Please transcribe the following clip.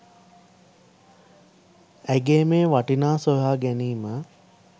ඇගේ මේ වටිනා සොයා ගැනීම